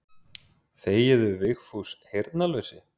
Þegiðu Vigfús heyrnarlausi.